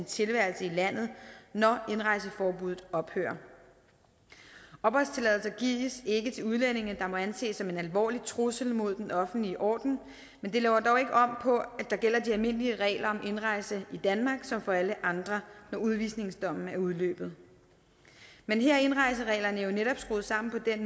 tilværelsen i landet når indrejseforbuddet ophører opholdstilladelse gives ikke til udlændinge der må anses at en alvorlig trussel mod den offentlige orden men det laver dog ikke om på at der gælder de almindelige regler om indrejse i danmark som gælder for alle andre når udvisningsdommen er udløbet men her er indrejsereglerne jo netop skruet sammen på den